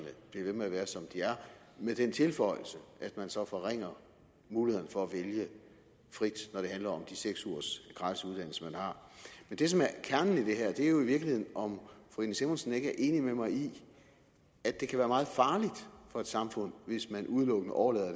bliver ved med at være som de er med den tilføjelse at man så forringer mulighederne for at vælge frit når det handler om de seks ugers gratis uddannelse man har men det som er kernen i det her er jo i virkeligheden om fru irene simonsen ikke er enig med mig i at det kan være meget farligt for et samfund hvis man udelukkende overlader